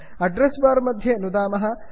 address bar मध्ये नुदामः